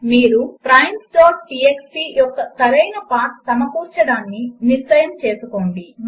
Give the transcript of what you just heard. మీరు primesటీఎక్స్టీ యొక్క సరైన పాత్ సమకూర్చడాన్ని నిశ్చయం చేసుకోండి